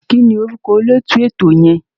Kí ni orúkọ olóòtú ètò yẹn?